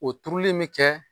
O turuli in bi kɛ.